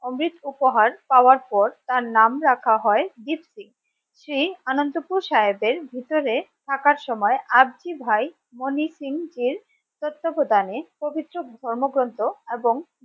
অমৃত উপহার পাওয়ার পর তার তার নাম রাখা হয় দ্বীপ সিং, সেই আনন্দপুর সাহেবের ভিতরে থাকার সময় আর্জি ভাই মনি সিংজির তত্ত্বাবধানে পবিত্র ধর্ম গ্রন্থ এবং